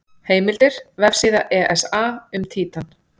Heimildir: Vefsíða ESA um Títan.